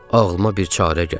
Ağlıma bir çarə gəlir.